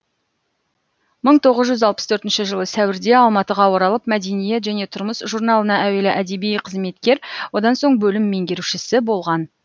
мың тоғыз жүз алпыс төртінші жылы сәуірде алматыға оралып мәдениет және тұрмыс журналына әуелі әдеби қызметкер одан соң бөлім меңгерушісі болған